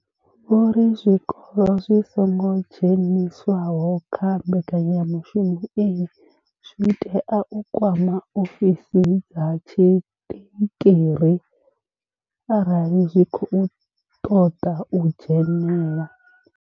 Vho ri zwikolo zwi songo dzheniswaho kha mbekanyamushumo iyi zwi tea u kwama ofisi dza tshiṱikiri arali zwi tshi khou ṱoḓa u dzhenela.